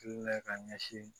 ka ɲɛsin